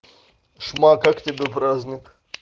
чума как тебе праздник